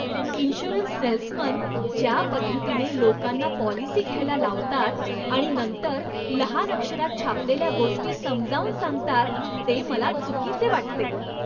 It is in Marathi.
इन्शुरन्स सेल्समन ज्या पद्धतीने लोकांना पॉलिसी घ्यायला लावतात आणि नंतर लहान अक्षरात छापलेल्या गोष्टी समजावून सांगतात ते मला चुकीचे वाटते.